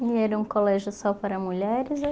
E era um colégio só para mulheres?